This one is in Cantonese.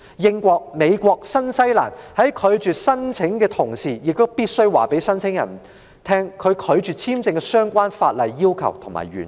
英國、美國及新西蘭在拒絕申請時，必須告知申請人被拒發簽證的相關法例要求及原因。